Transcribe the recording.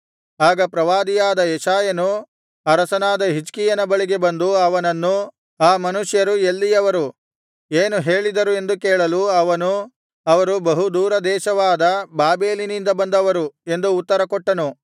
ಆಗ ಪ್ರವಾದಿಯಾದ ಯೆಶಾಯನು ಅರಸನಾದ ಹಿಜ್ಕೀಯನ ಬಳಿಗೆ ಬಂದು ಅವನನ್ನು ಆ ಮನುಷ್ಯರು ಎಲ್ಲಿಯವರು ಏನು ಹೇಳಿದರು ಎಂದು ಕೇಳಲು ಅವನು ಅವರು ಬಹು ದೂರ ದೇಶವಾದ ಬಾಬೆಲಿನಿಂದ ಬಂದವರು ಎಂದು ಉತ್ತರ ಕೊಟ್ಟನು